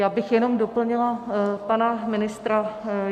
Já bych jenom doplnila pana ministra.